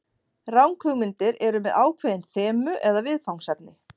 Ranghugmyndir eru með ákveðin þemu eða viðfangsefni.